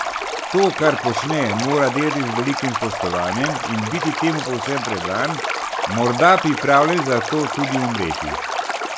To, kar počne, mora delati z velikim spoštovanjem in biti temu povsem predan, morda pripravljen za to tudi umreti.